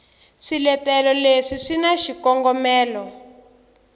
swiletelo leswi swi na xikongomelo